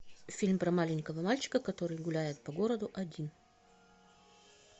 фильм про маленького мальчика который гуляет по городу один